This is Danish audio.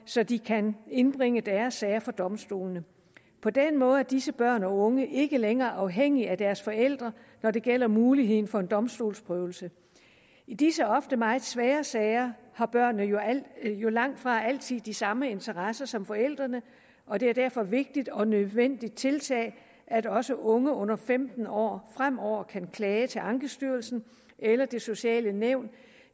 så de kan indbringe deres sager for domstolene på den måde er disse børn og unge ikke længere afhængige af deres forældre når det gælder muligheden for en domstolsprøvelse i disse ofte meget svære sager har børnene jo jo langtfra altid de samme interesser som forældrene og det er derfor et vigtigt og nødvendigt tiltag at også unge under femten år fremover kan klage til ankestyrelsen eller det sociale nævn